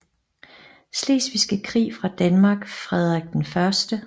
Slesvigske Krig fra Danmark Frederik 01